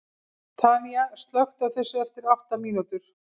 Tanía, slökktu á þessu eftir átta mínútur.